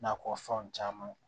Nakɔ fɛnw caman